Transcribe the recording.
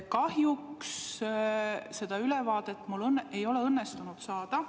Kahjuks seda ülevaadet mul ei ole õnnestunud saada.